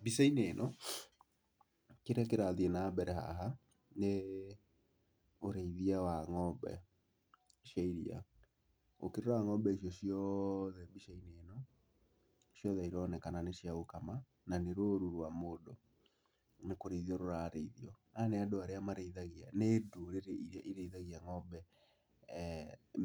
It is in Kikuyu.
Mbica-inĩ ĩno kĩrĩa kĩrathiĩ na mbere haha nĩ ũrĩithia wa ng'ombe cia iria. Ũkĩrora ng'ombe icio ciothe mbica-inĩ ĩno, ciothe ironekana nĩ cia gũkama na nĩ rũũru rwa mũndũ nĩ kũrĩithio rũrarĩithio. Aya nĩ andũ arĩa marĩithagia, nĩ ndũrĩrĩ irĩa irĩithagia ng'ombe